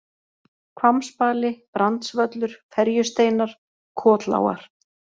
Hvammsbali, Brandsvöllur, Ferjusteinar, Kotlágar